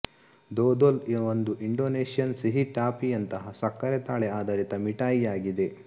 ದೊದೋಲ್ ಒಂದು ಇಂಡೊನೇಷ್ಯನ್ ಸಿಹಿ ಟಾಫಿಯಂತಹ ಸಕ್ಕರೆ ತಾಳೆ ಆಧಾರಿತ ಮಿಠಾಯಿಯಾಗಿದೆ